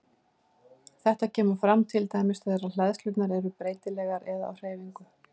Þetta kemur fram til dæmis þegar hleðslurnar eru breytilegar eða á hreyfingu.